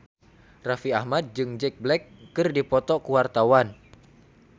Raffi Ahmad jeung Jack Black keur dipoto ku wartawan